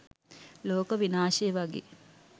ලෝක විනාශය වගේ